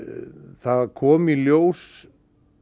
það kom í ljós